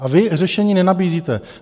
A vy řešení nenabízíte.